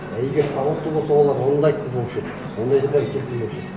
а егер сауатты болса олар оны да айтқызбаушы еді ондайды келтірмеуші еді